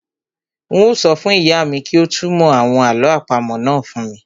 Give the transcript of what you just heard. Un ó sọ fún ìyá mi kí ó túnmọ̀ àwọn àlọ́ àpamọ́ náà fún mi